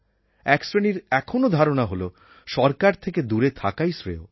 এক শ্রেণির এখনও ধারণা হল সরকার থেকে দূরে থাকাই শ্রেয়